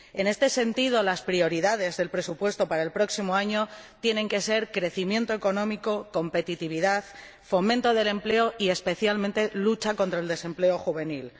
En este sentido, las prioridades del presupuesto para el próximo año tienen que ser crecimiento económico, competitividad, fomento del empleo y, especialmente, lucha contra el desempleo juvenil.